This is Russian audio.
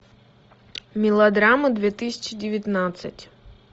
мелодрамы две тысячи девятнадцать